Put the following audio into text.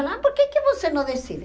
Falava, por que que você não decide?